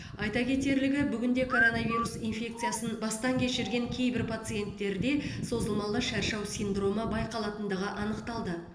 айта кетерлігі бүгінде коронавирус инфекциясын бастан кешірген кейбір пациенттерде созылмалы шаршау синдромы байқалатындығын анықталды